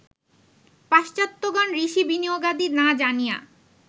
পাশ্চাত্ত্যগণ ঋষি বিনিয়োগাদি না জানিয়া